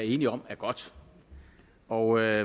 enige om er godt og jeg